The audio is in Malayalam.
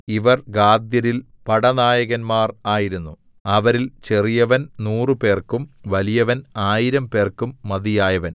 ഇവർ ഗാദ്യരിൽ പടനായകന്മാർ ആയിരുന്നു അവരിൽ ചെറിയവൻ നൂറുപേർക്കും വലിയവൻ ആയിരം പേർക്കും മതിയായവൻ